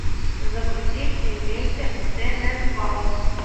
загрузи семейка тененбаум